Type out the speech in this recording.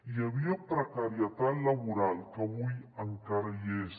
hi havia precarietat laboral que avui encara hi és